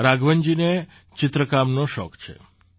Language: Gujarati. રાઘવનજીને ચિત્રકામનો શોખ છે